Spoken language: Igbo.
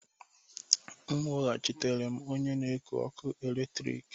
M weghachitere m onye na-eku ọkụ eletrik